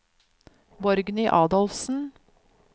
Borgny Adolfsen